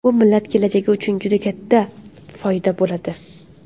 Bu millat kelajagi uchun ham juda katta foyda bo‘ladi”.